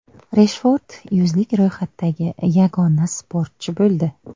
Reshford yuzlik ro‘yxatdagi yagona sportchi bo‘ldi.